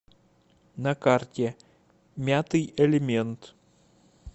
на карте мятый элемент